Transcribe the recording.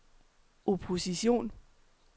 opposition